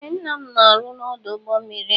Ee ńnà m na-aru n'odu ụgbọ mmiri a.